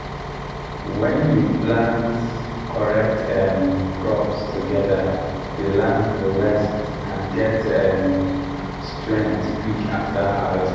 when you plant correct um crops together the land go rest and get um strength quick after harvest.